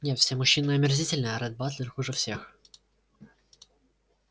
нет все мужчины омерзительны а ретт батлер хуже всех